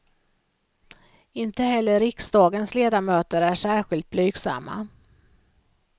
Inte heller riksdagens ledamöter är särskilt blygsamma.